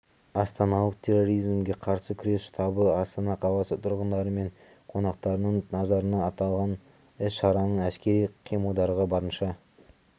астаналық терроризмге қарсы күрес штабы астана қаласы тұрғындары мен қонақтарының назарына аталған іс-шараның әскери қимылдарға барынша